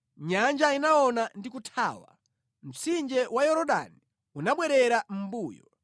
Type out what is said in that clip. Nyanja inaona ndi kuthawa, mtsinje wa Yorodani unabwerera mʼmbuyo;